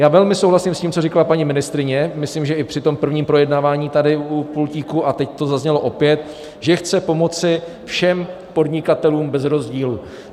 Já velmi souhlasím s tím, co říkala paní ministryně, myslím, že i při tom prvním projednávání tady u pultíku, a teď to zaznělo opět, že chce pomoci všem podnikatelům bez rozdílu.